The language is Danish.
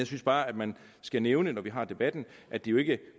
synes bare at man skal nævne når vi har debatten at det jo ikke